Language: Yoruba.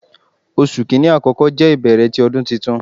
Oṣu Kini akọkọ jẹ ibẹrẹ ti Ọdun Tuntun